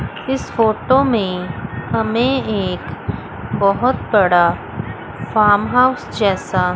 इस फोटो में हमें एक बहोत बड़ा फार्म हाउस जैसा--